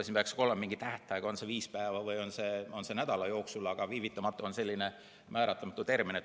Siin võiks ka olla mingi tähtaeg, on see viis päeva või on see nädala jooksul, aga "viivitamata" on selline määratlemata termin.